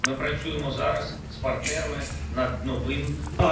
Biz indi partnyorlarla daha yeni üzərində işləyirik.